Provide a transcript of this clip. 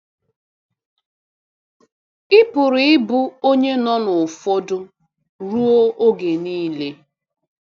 Ị pụrụ ịbụ onye nọ n’ụfọdụ ọrụ oge nile.